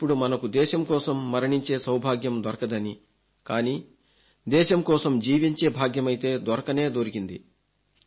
ఇప్పుడు మనకు దేశం కోసం మరణించే సౌభాగ్యం దొరకదని కానీ దేశం కోసం జీవించే భాగ్యమైతే దొరకనే దొరికింది